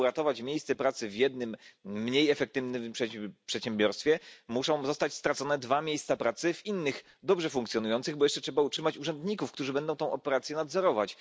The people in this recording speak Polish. Aby uratować miejsce pracy w jednym mniej efektywnym przedsiębiorstwie, trzeba stracić dwa miejsca pracy w innych dobrze funkcjonujących, bo jeszcze musimy utrzymać urzędników, którzy będą tę operację nadzorować.